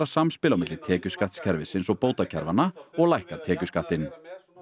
samspil á milli tekjuskattskerfisins og bótakerfanna og lækka tekjuskattinn